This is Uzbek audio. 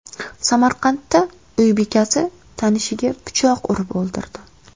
Samarqandda uy bekasi tanishiga pichoq urib o‘ldirdi.